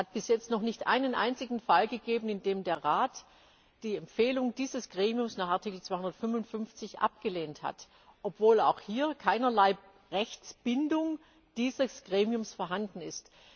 Es hat bis jetzt noch nicht einen einzigen Fall gegeben, in dem der Rat die Empfehlung dieses Gremiums nach Artikel 255 abgelehnt hat, obwohl auch hier keinerlei Rechtsbindung dieses Gremiums vorhanden ist.